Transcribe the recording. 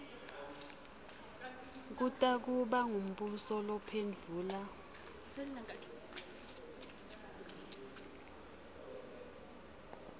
kutakuba ngumbuso lophendvula